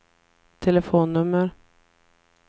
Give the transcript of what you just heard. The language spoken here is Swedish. telefonnummer